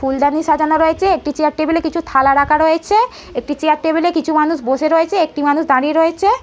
ফুলদানি সাজানো রয়েছে একটি চেয়ার টেবিল এ কিছু থালা রাখা রয়েছে। একটি চেয়ার টেবিল -এ কিছু মানুষ বসে রয়েছে একটি মানুষ দাঁড়িয়ে রয়েছে।